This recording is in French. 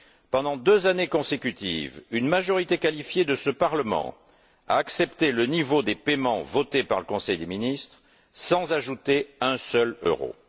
Pendant deux années consécutives, une majorité qualifiée de ce Parlement a accepté le niveau des paiements votés par le conseil des ministres sans ajouter un seul euro.